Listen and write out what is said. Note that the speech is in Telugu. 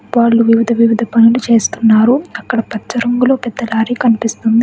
వాళ్లు వివిధ వివిధ పనులు చేస్తున్నారు. అక్కడ పచ్చ రంగులో పెద్ద లారీ కనిపిస్తుంది.